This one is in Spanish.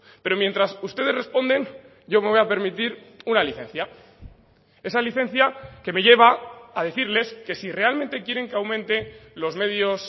pero mientras ustedes responden yo me voy a permitir una licencia esa licencia que me lleva a decirles que si realmente quieren que aumente los medios